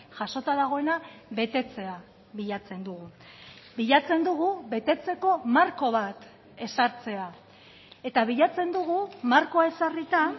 jasota dagoena betetzea bilatzen dugu bilatzen dugu betetzeko marko bat ezartzea eta bilatzen dugu markoa ezarrita